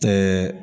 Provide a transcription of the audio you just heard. Tɛ